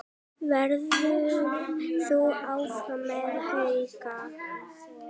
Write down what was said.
Verður þú áfram með Hauka?